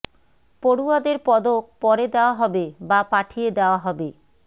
পড়ুয়াদের পদক পরে দেওয়া হবে বা পাঠিয়ে দেওয়া হবে